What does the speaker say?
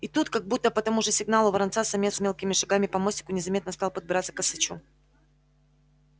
и тут как будто по тому же сигналу воронца самец мелкими шагами по мостику незаметно стал подбираться к косачу